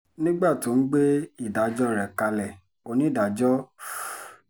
nígbà tó ń gbé ìdájọ́ rẹ̀ kalẹ̀ onídàájọ́ f